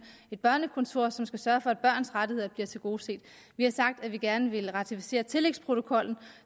et børnekontor som skal sørge for at børns rettigheder bliver tilgodeset vi har sagt at vi gerne vil ratificere tillægsprotokollen